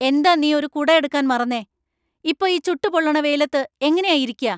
എന്താ നീ ഒരു കുട എടുക്കാൻ മറന്നേ ? ഇപ്പോ ഈ ചുട്ടു പൊള്ളണ വെയിലത്ത് എങ്ങനെയാ ഇരിയ്ക്ക?